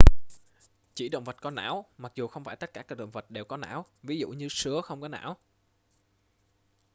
chỉ động vật có não mặc dù không phải tất cả các động vật đều có não; ví dụ như sứa không có não